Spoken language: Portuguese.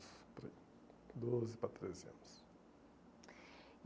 por aí, doze para treze anos.